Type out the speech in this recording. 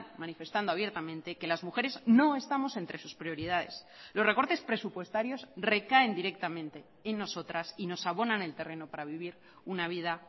manifestando abiertamente que las mujeres no estamos entre sus prioridades los recortes presupuestarios recaen directamente en nosotras y nos abonan el terreno para vivir una vida